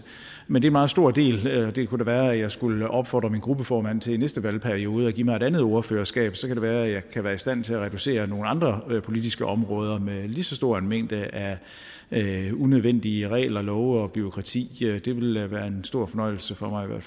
men det meget stor del det kunne da være jeg skulle opfordre min gruppeformand til i næste valgperiode at give mig et andet ordførerskab så kan det være jeg kan være i stand til at reducere nogle andre politiske områder med lige så stor en mængde af unødvendige regler love og bureaukrati det vil være en stor fornøjelse for mig